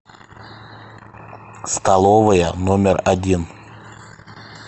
столовая номер один